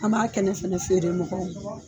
An b'a kɛnɛ fana feere mɔgɔw ma